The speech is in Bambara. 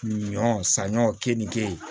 Ɲɔ saɲɔ ke ni keyi